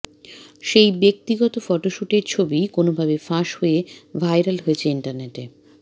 সেই ব্যক্তিগত ফটোশ্যুটের ছবিই কোনওভাবে ফাঁস হয়ে ভাইরাল হয়েছে ইন্টারনেটে